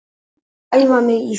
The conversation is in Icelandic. Ég er að æfa mig í því.